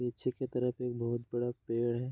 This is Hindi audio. पीछे की तरफ एक बहोत बड़ा पेड़ है।